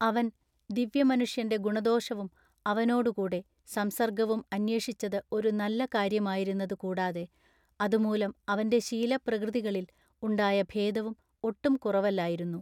അവൻ ദിവ്യമനുഷ്യൻ്റെ ഗുണദോഷവും അവനോടു കൂടെ സംസർഗ്ഗവും അന്വേഷിച്ചതു ഒരു നല്ല കാര്യമായിരുന്നത് കൂടാതെ അതുമൂലം അവൻ്റെ ശീല പ്രകൃതികളിൽ ഉണ്ടായ ഭേദവും ഒട്ടും കുറവല്ലായിരുന്നു.